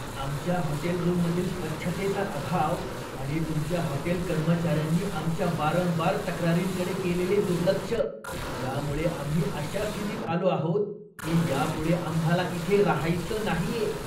आमच्या हॉटेलरूममधील स्वच्छतेचा अभाव आणि तुमच्या हॉटेलच्या कर्मचार्यांनी आमच्या वारंवार तक्रारींकडे केलेले दुर्लक्ष यामुळे आम्ही अशा स्थितीत आलो आहोत की यापुढे आम्हाला इथे राहायचं नाहीये.